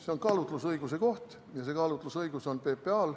See on kaalutlusõiguse koht ja see kaalutlusõigus on PPA-l.